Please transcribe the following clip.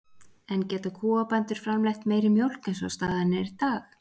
En geta kúabændur framleitt meiri mjólk eins og staðan er í dag?